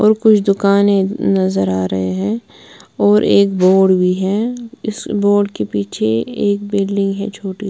और कुछ दुकाने नजर आ रहे हैं और एक बोर्ड भी है इस बोर्ड के पीछे एक बिल्डिंग है छोटी।